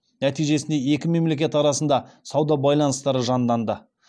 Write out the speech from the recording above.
нәтижесінде екі мемлекет арасында сауда байланыстары жанданды